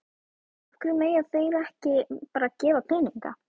Af hverju mega þeir ekki bara gefa peninga?